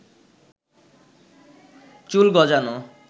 চুল গজানো